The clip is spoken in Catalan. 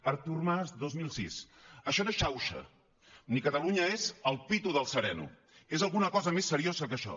artur mas dos mil sis això no és xauxa ni catalunya és el pito del sereno és alguna cosa més seriosa que això